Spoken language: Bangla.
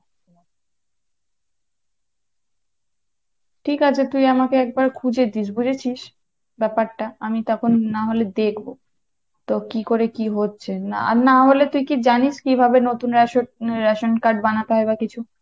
ঠিক আছে তুই আমাকে একবার খুঁজে দিস বুঝেছিস ব্যাপারটা আমি তখন না হলে দেখবো তো কী করে কী হচ্ছে, আর না হলে তুই কী জানিস কিভাবে নতুন রেশব ration card বানাতে হবে বা কিছু?